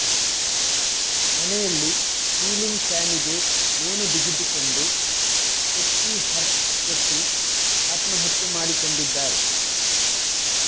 ಮನೆಯಲ್ಲಿ ಸೀಲಿಂಗ್ ಫ್ಯಾನಿಗೆ ನೇಣು ಬಿಗಿದುಕೊಂಡು ಟೆಕ್ಕಿ ಹರ್ಷ್ ಶೆಟ್ಟಿ ಆತ್ಮಹತ್ಯೆ ಮಾಡಿಕೊಂಡಿದ್ದಾರೆ